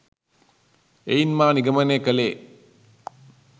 එයින් මා නිගමනය කළේ